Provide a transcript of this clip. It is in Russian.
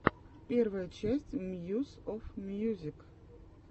первая часть мьюс оф мьюзик